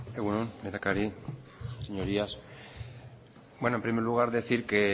egun on lehendakari señorías en primer lugar decir que